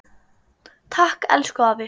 Takk, elsku afi.